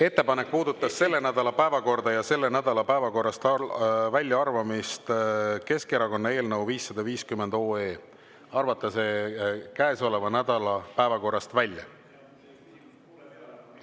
Ettepanek puudutas selle nädala päevakorda ja selle nädala päevakorrast väljaarvamist: Keskerakonna eelnõu 550 arvata käesoleva nädala päevakorrast välja.